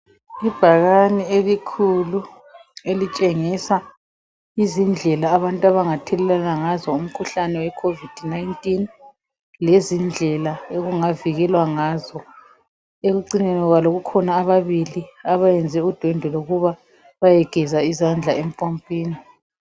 Ibhakane elikhulu elitshengisa izindlela abantu abangathelelana ngazo umkhuhlane weCovid 19 lezindlela okungavikelwa ngazo ekucineni kwabo kukhona ababili abayenze udwendwe lokuba bayegeza izandla empompini.